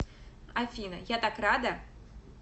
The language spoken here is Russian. афина я так рада